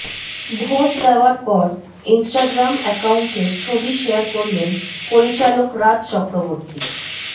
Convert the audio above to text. vote দেওয়ার পর Instagram অ্যাকাউন্টে ছবি শেয়ার করলেন পরিচালক রাজ চক্রবর্তী